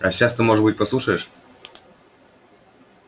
а сейчас ты может быть послушаешь